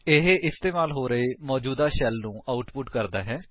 ਇਹ ਇਸਤੇਮਾਲ ਹੋ ਰਹੇ ਮੌਜੂਦਾ ਸ਼ੈਲ ਨੂੰ ਆਉਟਪੁਟ ਕਰਦਾ ਹੈ